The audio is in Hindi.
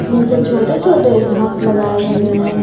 नीचे छोटे छोटे घास लगाए हुए हैं।